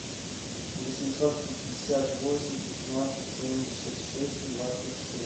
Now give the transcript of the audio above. восемьсот пятьдесят восемь шестнадцать семьдесят шесть двадцать семь